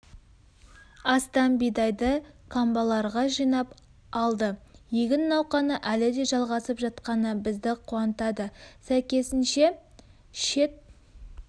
астам бидайды қамбаларға жинап алды егін науқаны әлі де жалғасып жатқаны бізді қуантады сәйкесінше шет